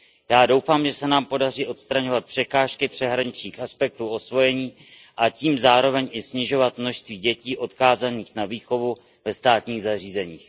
Já doufám, že se nám podaří odstraňovat překážky přeshraničních aspektů osvojení a tím zároveň i snižovat množství dětí odkázaných na výchovu ve státních zařízeních.